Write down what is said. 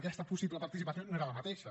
aquesta possible participació no era la mateixa